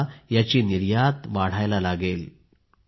आता याची निर्यात वाढायला लागेल